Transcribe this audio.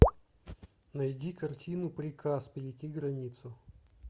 найди картину приказ перейти границу